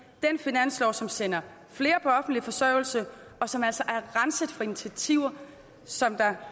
den finanslov som sender flere på offentlig forsørgelse og som altså er renset for initiativer som